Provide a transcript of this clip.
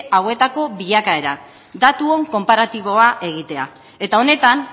hauetako bilakaera datuon konparatiboa egitea eta honetan